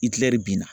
Iɛri bina